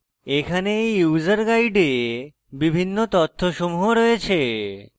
এখানে এই user guide বিভিন্ন তথ্যসমূহ রয়েছে